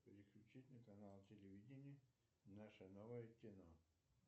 переключить на канал телевидения наше новое кино